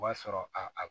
O b'a sɔrɔ a